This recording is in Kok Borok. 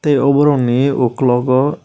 abo rog ni okolog o.